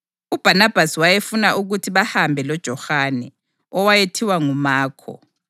UBhanabhasi wayefuna ukuthi bahambe loJohane, owayethiwa nguMakho,